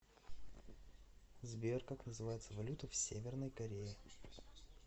сбер как называется валюта в северной корее